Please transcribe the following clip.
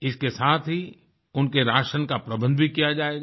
इसके साथ ही उनके राशन का प्रबंध भी किया जाएगा